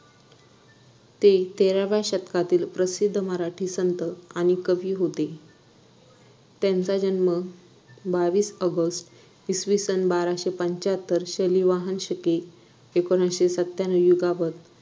ते तेराव्या शतकातील प्रसिद्ध मराठी संत आणि कवी होते त्यांचा जन्म बावीस ऑगस्ट इसवीसन बाराशे पंच्च्याहत्तर शैली वाहनशके एकोणीसशे सत्याण्णव युगावर